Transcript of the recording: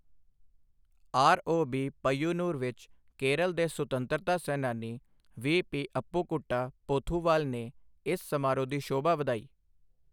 ROB Payyanur ਵਿੱਚ ਕੇਰਲ ਦੇ ਸੁਤੰਤਰਤਾ ਸੈਨਾਨੀ ਵੀਪੀ ਅੱਪੁਕੁੱਟਾ ਪੋਥੁਵਾਲ ਨੇ ਇਸ ਸਮਾਰੋਹ ਦੀ ਸ਼ੋਭਾ ਵਧਾਈ।